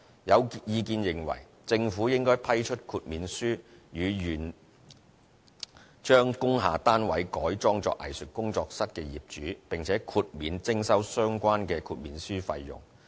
有意見認為政府應批出豁免書予願將工廈單位改裝作藝術工作室的業主，並且豁免徵收相關豁免書費用。